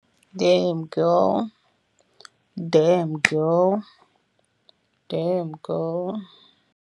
Dam boy, dam girl, dam girl.